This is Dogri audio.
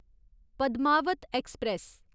पद्मावत ऐक्सप्रैस